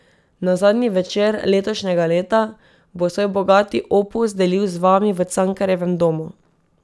Na zadnji večer letošnjega leta bo svoj bogati opus delil z vami v Cankarjevem domu.